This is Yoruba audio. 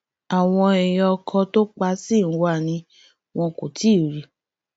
àwọn èèyàn ọkọ tó pa ṣì ń wá a ni wọn kò tí ì rí i